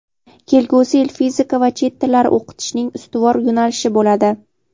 Kelgusi yil fizika va chet tillari o‘qitishning ustuvor yo‘nalishi bo‘ladi.